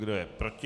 Kdo je proti?